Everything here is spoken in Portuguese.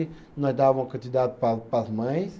Nós dava uma quantidade para para as mães.